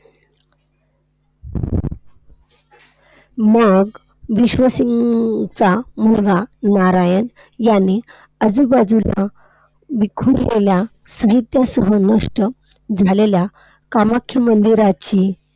मग विश्वसिंगचा मुलगा नारायण याने आजूबाजूला विखुरलेल्या, साहित्यासह नष्ट झालेल्या कामाख्या मंदिराची